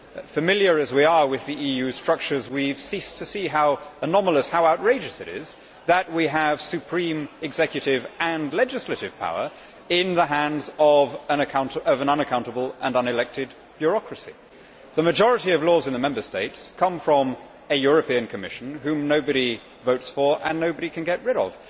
Familiar as we are with the EU structures, we have ceased to see how anomalous, how outrageous, it is that we have supreme executive and legislative power in the hands of an unaccountable and unelected bureaucracy. The majority of laws in the Member States come from a European Commission whom nobody votes for and nobody can get rid of.